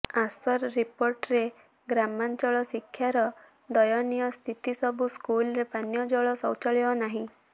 ଆସର୍ ରିପୋର୍ଟରେ ଗ୍ରାମାଞ୍ଚଳ ଶିକ୍ଷାର ଦୟନୀୟ ସ୍ଥିତି ସବୁ ସ୍କୁଲରେ ପାନୀୟ ଜଳ ଶୌଚାଳୟ ନାହିଁ